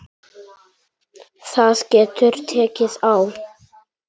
Það getur tekið á.